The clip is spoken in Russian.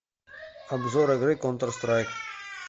обзор игры контр страйк